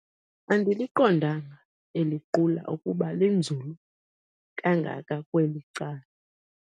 Andiliqondanga eli qula ukuba linzulu kangaka kweli cala.